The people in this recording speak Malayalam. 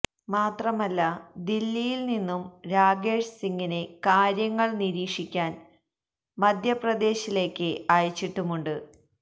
മാത്രമല്ല ദില്ലിയില് നിന്നും രാകേഷ് സിംഗിനെ കാര്യങ്ങള് നിരീക്ഷിക്കാന് മധ്യപ്രദേശിലെക്ക് അയച്ചിട്ടുമുണ്ട്